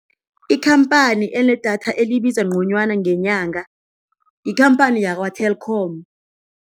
Ikhamphani enedatha elibiza ngconywana ngenyanga yikhamphani yakwa-Telkom.